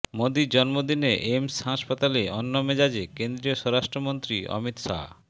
মোদীর জন্মদিনে এইমস হাসপাতালে অন্য মেজাজে কেন্দ্রীয় স্বরাষ্ট্রমন্ত্রী অমিত শাহ